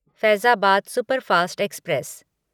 Faizabad superfast express